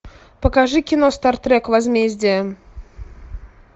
покажи кино стартрек возмездие